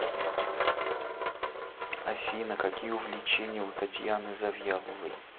афина какие увлечения у татьяны завьяловой